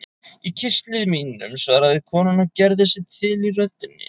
Í kistli mínum, svaraði konan og gerði sig til í röddinni.